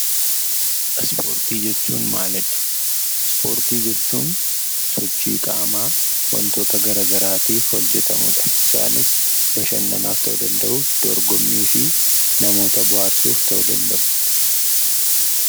Ispoortii jechuun maalidha? Ispoortii jechuun sochii qaamaa wantoota gara garaatiif hojjetamudha. Isaanis bashannanaaf ta'uu danda'u, dorgommii fi namoota bohaarsuuf ta'uu danda'u.